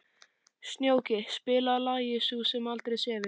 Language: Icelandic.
Snjóki, spilaðu lagið „Sú sem aldrei sefur“.